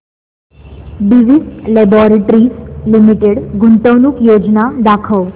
Divi's laboratories limited गुंतवणूक योजना दाखव